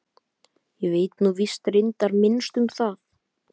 Ég veit nú víst reyndar minnst um það.